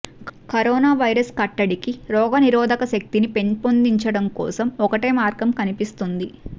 corona virus కట్టడికి రోగనిరోధక శక్తిని పెంపొందించుకోవడం ఒక్కటే మార్గంగా కనిపిస్తుంది